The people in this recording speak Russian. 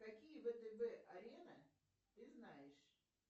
какие втб арены ты знаешь